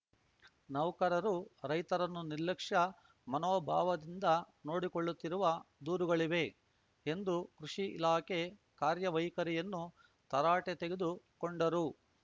ನೌಕರರು ರೈತರನ್ನು ನಿರ್ಲಕ್ಷ್ಯ ಮಾನೋಭಾವದಿಂದ ನೋಡಿಕೊಳ್ಳುತ್ತಿರುವ ದೂರುಗಳಿವೆ ಎಂದು ಕೃಷಿ ಇಲಾಖೆ ಕಾರ್ಯವೈಖರಿಯನ್ನು ತರಾಟೆ ತೆಗೆದು ಕೊಂಡರು